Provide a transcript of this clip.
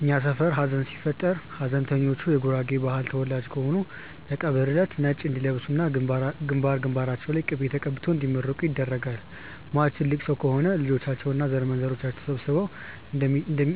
እኛ ሰፈር ሀዘን ሲፈጠር ሀዘንተኞቹ የጉራጌ ባህል ተወላጆች ከሆኑ የቀብር እለት ነጭ እንዲለብሱ እና ግንባር ግንባራቸው ላይ ቅቤ ተቀብተው እንዲመረቁ ይደረጋል። ሟቹ ትልቅ ሰው ከሆኑ ልጆቻቸው እና ዘርማንዘራቸው ተሰብስበው